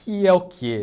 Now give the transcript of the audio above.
Que é o quê?